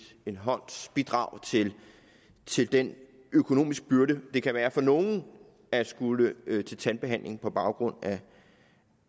bidrag til den økonomiske byrde det kan være for nogle at skulle til tandbehandling på grund af